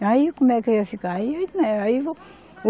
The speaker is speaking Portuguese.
E aí, como é que eu ia ficar?